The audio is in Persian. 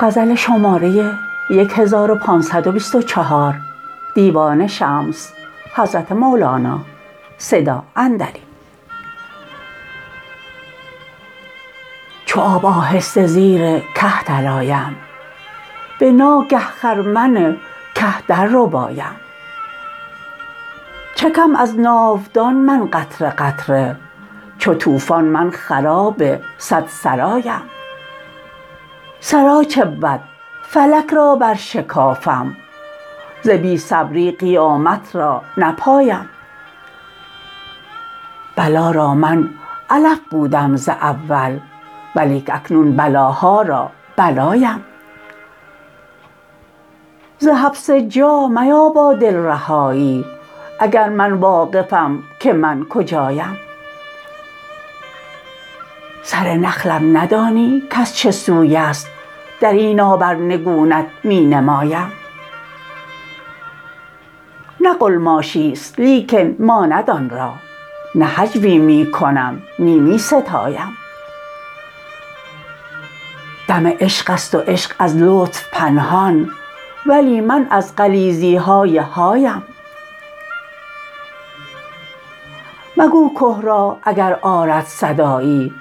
چو آب آهسته زیر که درآیم به ناگه خرمن که درربایم چکم از ناودان من قطره قطره چو طوفان من خراب صد سرایم سرا چه بود فلک را برشکافم ز بی صبری قیامت را نپایم بلا را من علف بودم ز اول ولیک اکنون بلاها را بلایم ز حبس جا میابا دل رهایی اگر من واقفم که من کجایم سر نخلم ندانی کز چه سوی است در این آب ار نگونت می نمایم نه قلماشی است لیکن ماند آن را نه هجو ی می کنم نی می ستایم دم عشق است و عشق از لطف پنهان ولی من از غلیظی های هایم مگو که را اگر آرد صدایی